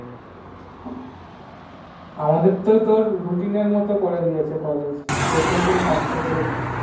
আমাদের তো Routine এ মত করে দিয়েছে প্রত্যেক দিন পাঁচটা করে ক্লাস